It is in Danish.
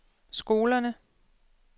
skolerne